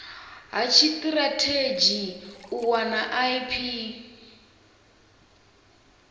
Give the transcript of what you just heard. ha tshitirathedzhi u wana ip